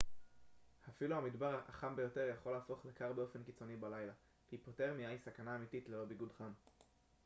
אפילו המדבר החם ביותר יכול להפוך לקר באופן קיצוני בלילה היפותרמיה היא סכנה אמיתית ללא ביגוד חם